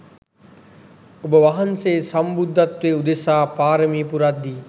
ඔබ වහන්සේ සම්බුද්ධත්වය උදෙසා පාරමි පුරද්දී